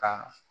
Ka